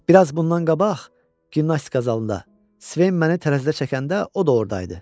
Bir az bundan qabaq gimnastika zalında Sven məni tərəzidə çəkəndə o da orda idi.